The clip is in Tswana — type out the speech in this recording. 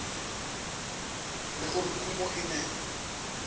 le gore kumo e ne